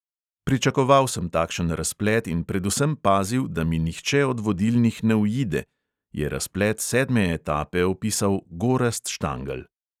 "Pričakoval sem takšen razplet in predvsem pazil, da mi nihče od vodilnih ne uide," je razplet sedme etape opisal gorazd štangelj.